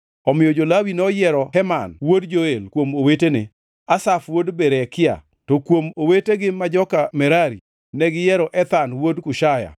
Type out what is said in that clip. Omiyo jo-Lawi noyiero Heman wuod Joel kuom owetene, Asaf wuod Berekia, to kuom owetegi ma joka Merari, negiyiero Ethan wuod Kushaya